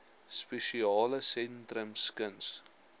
spesiale sentrums kuns